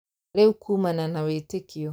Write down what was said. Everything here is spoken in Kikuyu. Rĩu kuumana na wĩtĩkio